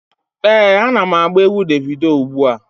Ee, ana m agba egwu Devido ugbu a.